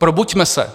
Probuďme se.